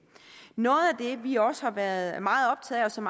noget af det vi også har været meget optaget af og som